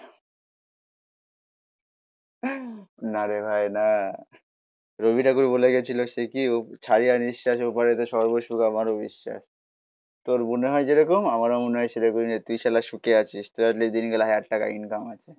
না রে ভাই না. রবি ঠাকুর বলে গেছিল সে কি ছাইড়া নিঃশ্বাসের ওপারেতে সর্ব সুখ আমারও বিশ্বাস. তোর মনে হয় যেরকম. আমারও মনে হয় সেরকমই নেই. তুই শালা সুখে আছিস. তোরা যেদিন গেলে হাজার টাকা ইনকাম আছে.